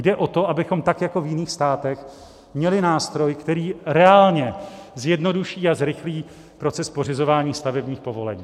Jde o to, abychom tak jako v jiných státech měli nástroj, který reálně zjednoduší a zrychlí proces pořizování stavebních povolení.